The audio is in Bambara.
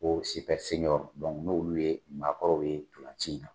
Ko dɔnku n'olu ye maakɔrɔw ye notolci in na.